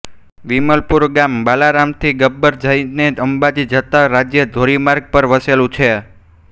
વિરમપુર ગામ બાલારામથી ગબ્બર થઈને અંબાજી જતાં રાજ્ય ધોરીમાર્ગ પર વસેલું છે